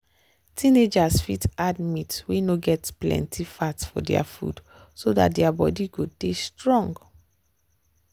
teenagers fit add meat wey no get plenty fat for their food so dat their their body go dey strong.